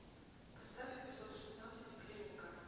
поставь эпизод шестнадцать клиника